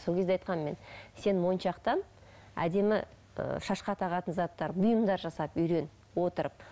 сол кезде айқанмын мен сен моншақтан әдемі ы шашқа тағатын заттар бұйымдар жасап үйрен отырып